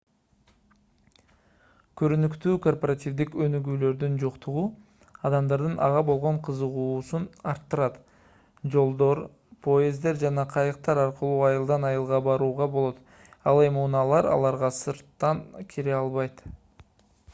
көрүнүктүүү корпоративдик өнүгүүлөрдүн жоктугу адамдардын ага болгон кызыгуусун арттырат жолдор поезддер жана кайыктар аркылуу айылдан айылга барууга болот ал эми унаалар аларга сырттан кире албайт